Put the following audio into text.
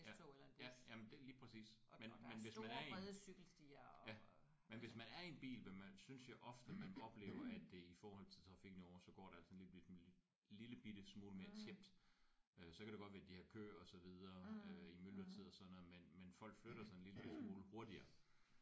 Ja jamen det lige præcis. Men men hvis man er i en ja men hvis man er i en bil vil man synes jeg ofte man oplever at det i forhold til trafikken herovre så går det altså en lille bitte smule mere tjept. Øh så kan det godt være de har kø og så videre i myldretiden og sådan noget men folk flytter sig en lille bitte smule hurtigere